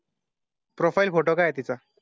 Profile photo काय तिथं?